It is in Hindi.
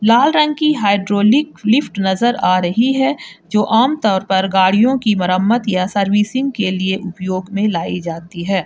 लाल रंग की हाइड्रोलिक लिफ्ट नजर आ रही है जो आम तौर पर गाड़ियों की मरम्मत या सर्विसिंग के लिए उपयोग में लाई जाती है।